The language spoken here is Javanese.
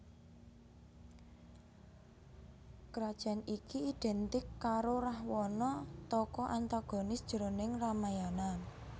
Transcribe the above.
Krajan iki idhèntik karo Rahwana tokoh antagonis jroning Ramayana